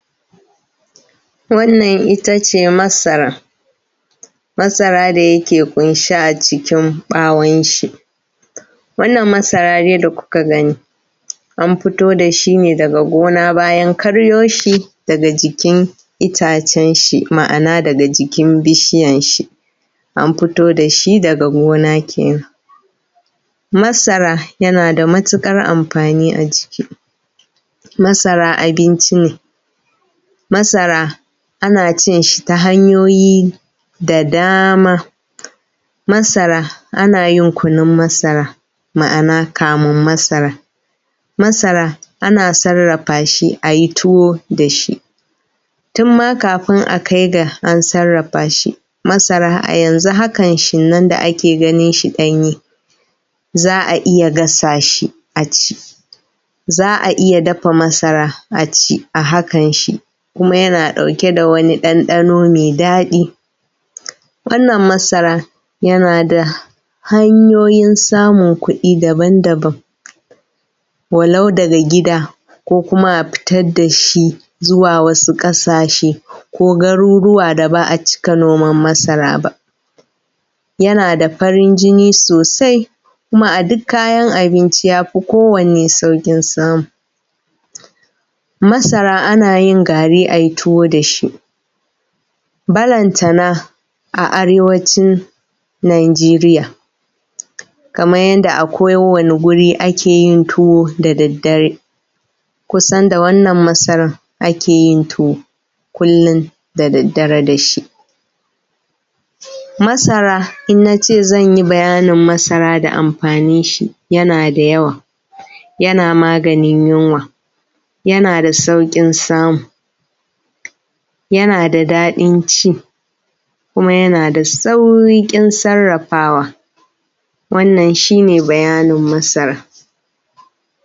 Wannan itace masara, masara da yake ƙunshe a cikin ɓawon shi. Wannan masara dai da kuka gani an fito da shi ne daga gona, bayan karyo shi daga jikin itacen shi. Ma’ana daga jikin bishiyan shi. An fito da shi daga gona kenan. Masara yana da matuƙar amfani a jiki. Masara abinci ne. Masara ana cin shi ta hanyoyi da dama. Masara ana yin kunun masara ma’ana kamun masara. Masara ana sarrafa shi a yi tuwo da shi tun ma kafun a kai ga an sarrafa shi, masara a yanzu hakan shi nan da ake ganin shi ɗanye za a iya gasa shi a ci, za a iya dafa masara a ci a hakan shi, kuma yana ɗauke da wani ɗanɗano mai daɗi. Wannan masara yana da hanyoyin samun kuɗi daban daban, walau daga gida ko kuma a fitar da shi zuwa wasu ƙasashe ko garuruwa da ba a cika noman masara ba. yana da farin jini sosai kuma a duk kayan abinci ya fi kowanne sauƙin samu. Masara ana yin gari ai tuwo da shi, balantana a arewancin Najeriya. Kaman yadda a kowane guri ake yin tuwo da daddare kusan da wannan masaran ake yin tuwo kullum da daddare da shi. Masara in na ce zan yi bayanin masara da amfanin shi yana da yawa yana maganin yunwa, yana da sauƙin samu, yana da daɗin ci kuma yana da sauƙin sarrafawa. Wannan shine bayanin masara